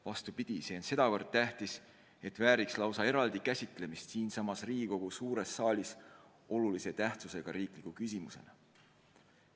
Vastupidi, see on nii tähtis, et vääriks lausa eraldi käsitlemist siinsamas Riigikogu suures saalis olulise tähtsusega riikliku küsimusena.